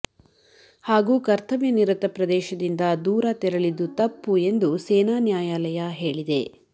ಹಾಗೂ ಕರ್ತವ್ಯ ನಿರತ ಪ್ರದೇಶದಿಂದ ದೂರ ತೆರಳಿದ್ದು ತಪ್ಪು ಎಂದು ಸೇನಾ ನ್ಯಾಯಾಲಯ ಹೇಳಿದೆ